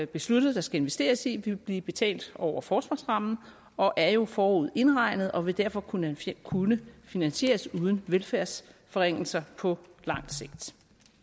besluttet der skal investeres i vil blive betalt over forsvarsrammen og er jo forudindregnet og vil derfor kunne kunne finansieres uden velfærdsforringelser på lang sigt